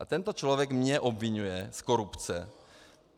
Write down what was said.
A tento člověk mě obviňuje z korupce.